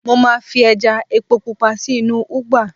mo ma fi eja epo pupa sí inú ugba